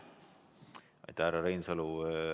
Aitäh, härra Reinsalu!